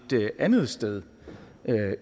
andet sted